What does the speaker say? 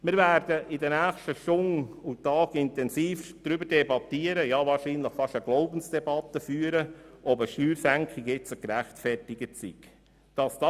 Wir werden in den nächsten Stunden und Tagen äusserst intensiv diskutieren und wahrscheinlich fast eine Glaubensdebatte darüber führen, ob eine Steuersenkung zum jetzigen Zeitpunkt gerechtfertigt ist.